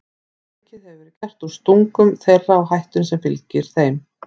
Of mikið hefur verið gert úr stungum þeirra og hættunni sem fylgir þeim.